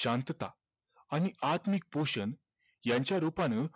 शांतता आणि आत्मिक पोषणयांच्या रूपानं